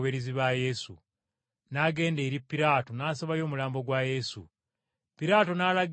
N’agenda eri Piraato n’asabayo omulambo gwa Yesu. Piraato n’alagira bagumuwe.